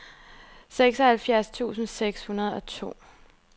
seksoghalvfjerds tusind seks hundrede og to